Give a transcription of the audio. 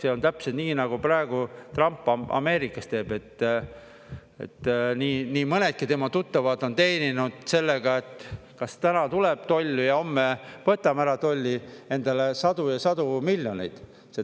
See on täpselt nii, nagu praegu Trump Ameerikas teeb, et nii mõnedki tema tuttavad on teeninud sellega, et kas täna tuleb toll või homme võtame ära tolli, endale sadu ja sadu miljoneid.